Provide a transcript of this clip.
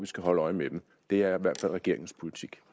skal holde øje med dem det er i hvert fald regeringens politik